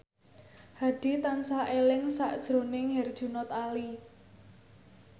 Hadi tansah eling sakjroning Herjunot Ali